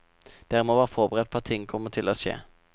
Dere må være forberedt på at ting kommer til å skje.